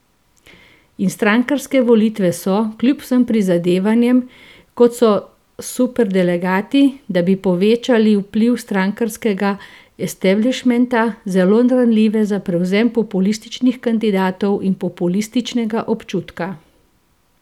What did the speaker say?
In strankarske volitve so, kljub vsem prizadevanjem, kot so superdelegati, da bi povečali vpliv strankarskega establišmenta, zelo ranljive za prevzem populističnih kandidatov in populističnega občutka.